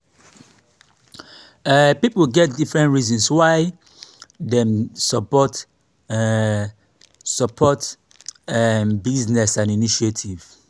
um pipo get different reasons why dem de support um support um businesses and initiative